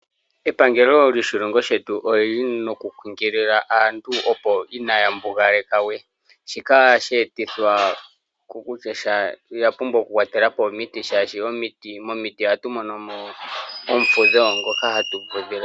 Epangelo lyoshilongo shetu olyili nokukunkilila aantu inaya mbugaleka we, shika ohashi etithwa kokutya ehala olya pumbwa okukwatela po omiti shaashi momiti ohatu monomo omufudho ngoka hatu fudhile mo.